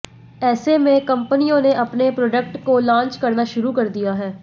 ऐसे में कंपनियों ने अपने प्रोडक्ट को लॉन्च करना शुरू कर दिया है